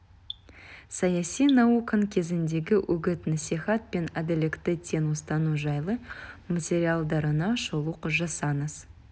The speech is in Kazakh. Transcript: саяси науқан кезіндегі үгіт-насихат пен әділдікті тең ұстану жайлы материалдарына шолу жасаңыз